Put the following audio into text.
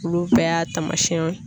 Olu bɛɛ y'a taamasiyɛnw